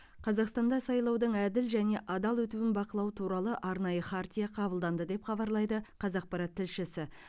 қазақстанда сайлаудың әділ және адал өтуін бақылау туралы арнайы хартия қабылданды деп хабарлайды қазақпарат тілшісі